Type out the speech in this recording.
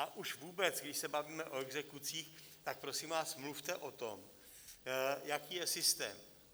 A už vůbec, když se bavíme o exekucích, tak prosím vás, mluvte o tom, jaký je systém.